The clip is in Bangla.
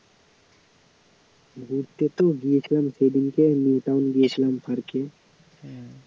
ঘুরতে তো গিয়েছিলাম, সেদিনকে newtown গেছিলাম park এ